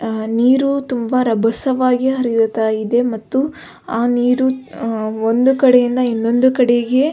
ಅ ನೀರು ತುಂಬ ರಭಸವಾಗಿ ಹರಿಯುತ್ತಿದೆ ಮತ್ತು ಆ ನೀರು ಒಂದು ಕಡೆಯಿಂದ ಇನ್ನೊಂದು ಕಡೆಗೆ --